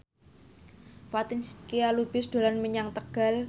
Fatin Shidqia Lubis dolan menyang Tegal